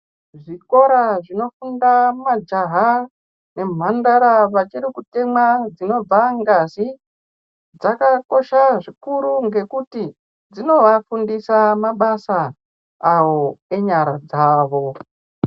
Zvikora zvinofunda majaha nemhandara vachiri kutemwa dzinobva ngazi, dzakadzosha zvikuru ngekuti dzinovafundisa mabasa ewo enyara dzavo.